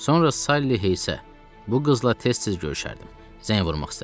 Sonra Sally Heysə, bu qızla tez-tez görüşərdim, zəng vurmaq istədim.